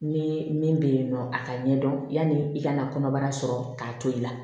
Ne min bɛ yen nɔ a ka ɲɛdɔn yani i ka na kɔnɔbara sɔrɔ k'a to i la